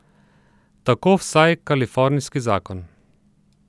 Tako vsaj kalifornijski zakon.